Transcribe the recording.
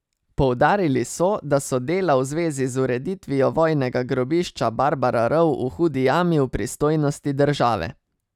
Poudarili so, da so dela v zvezi z ureditvijo vojnega grobišča Barbara rov v Hudi Jami v pristojnosti države.